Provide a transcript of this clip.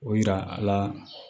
O yira a la